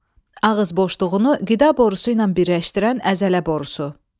Ağız boşluğunu qida borusu ilə birləşdirən əzələ borusu.